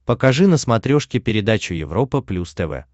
покажи на смотрешке передачу европа плюс тв